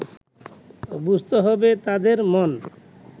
বুঝতে হবে তাঁদের মন